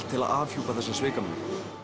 til að afhjúpa þessa svikamyllu